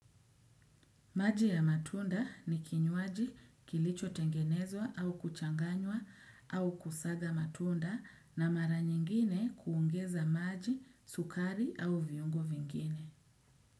Maji ya matunda ni kinywaji kilicho tengenezwa au kuchanganywa au kusaga matunda na mara nyingine kuongeza maji, sukari au viungo vingine.